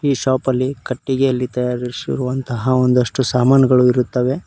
ಈ ಶಾಪ್ ಅಲ್ಲಿ ಕಟ್ಟಿಗೆಯಲ್ಲಿ ತಯಾರಿಸುವಂತಹ ಒಂದಷ್ಟು ಸಾಮಾನುಗಳು ಇರುತ್ತವೆ.